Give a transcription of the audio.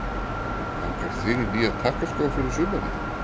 Langar þig í nýja takkaskó fyrir sumarið?